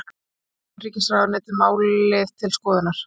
Hefur utanríkisráðuneytið málið til skoðunar